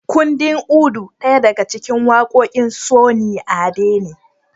Kundin Udu daya daga cikin waƙoƙin Sunny Ade ne